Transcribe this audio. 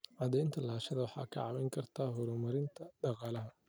Cadaynta lahaanshaha waxay kaa caawin kartaa horumarinta dhaqaalaha.